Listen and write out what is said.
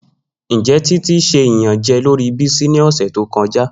Njẹ Titi ṣe iyanjẹ lori Bisi ni ọsẹ to kọja?